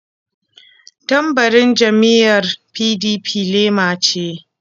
Tambarin jam'iyyar PDP lema ce.